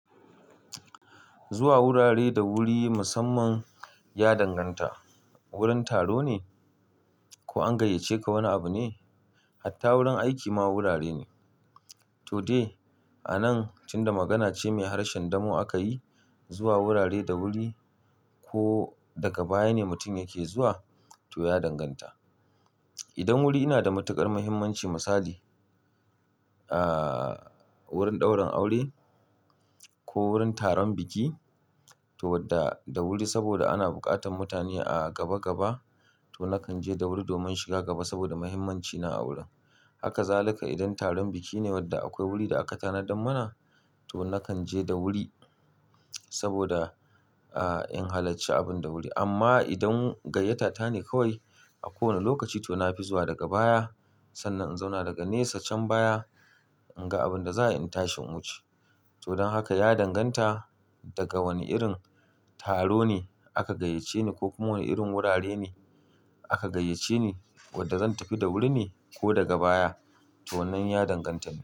Zuwa wurare da wuri musamman ya danganta wurin taro ne ko an gayyace ka wani abu ne. Hatta wurin aiki ma wurare ne to dai a nan tunda magana ce mai harshen damo aka yi zuwa wurare da wuri ko daga baya ne mutum yake zuwa to ya danganta. Idan wuri yana da matukar mahimmanci misali wurin daurin aure ko wurin taron biki to wadda da wuri saboda ana buƙatan mutane a gaba gaba to nakan je da wuri domin shiga gaba saboda mahimmancina a wurin. Haka zaluka idan taron biki ne wadda akwai wuri da aka tanadar mana to nakan je da wuri saboda in halacci abun da wuri. Amma idan gayyata ta ne kawai a kowane lokaci to na fi zuwa daga baya sannan in zauna daga nesa can baya in ga abin da za'a yi in tashin wuce. To don haka ya danganta daga wane irin taro ne aka gayyace ni ko kuma wane irin wurare ne aka gayyace ni wadda zan tafi da wuri ne ko daga baya to wannan ya danganta.